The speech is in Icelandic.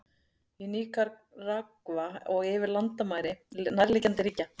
Í Níkaragva og yfir landamæri nærliggjandi ríkja.